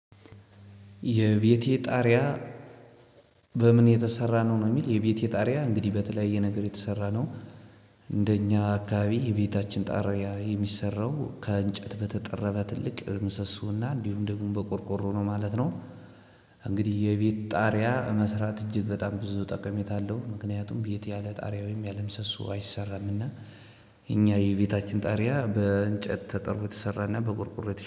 የቤቴ ጣርያ በምን የተሰራ ነው ሚል? የቤቴ ጣሪያ አንግዲህ በተለያየ ነገር የተሰራ ነው። እንደኛ አካባቢ የቤታችን ጣሪያ የሚሰራው ከእንጨት በተጠረበ ትልቅ ምሶሶና እንዲሁም ደግሞ በቆርቆሮ ነው ማለት ነው። እንግዲህ የቤት ጣሪያ መስራት እጅግ በጣም ብዙ ጠቀሜታ አለው። ምክንያቱም ቤት ያለ ጣሪያ ወይም ያለ ምሰሱ አይሰራም እና። እኛ የቤታችን ጣሪያ በእንጨት ተጠርቦ ተሰራና በቆርቆሮ